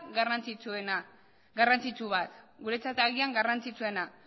garrantzitsu bat guretzat agian garrantzitsuena